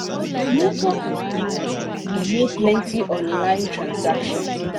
network wahala delay plenty online transactions.